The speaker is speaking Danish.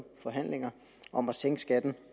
forhandlinger om at sænke skatten